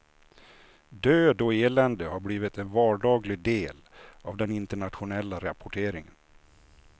Död och elände har blivit en vardaglig del av den internationella rapporteringen.